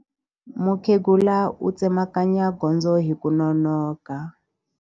Mukhegula u tsemakanya gondzo hi ku nonoka.